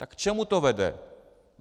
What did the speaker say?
Tak k čemu to vede?